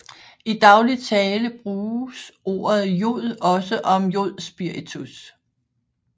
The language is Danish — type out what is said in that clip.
I daglig tale bruges ordet jod også om jodspiritus